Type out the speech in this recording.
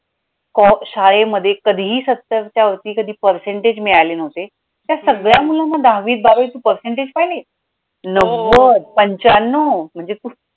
शाळेमध्ये काधीही सत्तरच्यावरती कधी percentage मिळाले नव्हते, त्या सगळ्या मुलांना दहावीत, बारावीत तू percentage पाहिले नव्वद पंच्याणणव म्हणजे